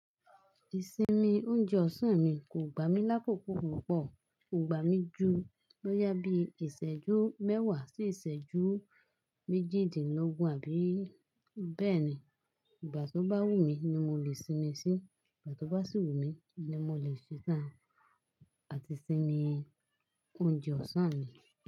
Ìsinmi oúnjẹ ọ̀sán mi kò gbà mí lákòókò púpọ̀, kò gbà mí ju bóyà bíi ìṣẹ́jú mẹ́wà sí ìṣẹ́jú méjìdínlógún àbí bẹ́ẹ̀ni. Ìgbà tó bá wùmí ni mo lè sinmi sí, ìgbà tó bá sì wùmí ni mo lè ṣe tán àti sinmi oúnjẹ ọ̀sán mi.